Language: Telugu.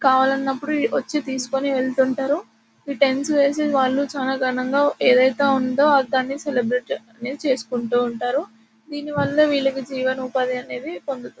కావాలన్నప్పుడు వచ్చి తీసుకుని వేళ్ళుతుంటారు. టెంట్స్ వేసి వాళ్ళు చాలా ఘనంగా ఏదైతే ఉందో దాన్ని సెలబ్రేట్ అనేది చేసుకుంటూ ఉంటారు. దీనివల్ల విల్లకీ జీవన ఉపాధి అనేది పొందుతారు.